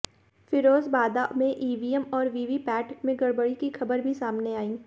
फिरोजबादा में ईवीएम और वीवीपैट में गड़बड़ी की खबर भी सामने आई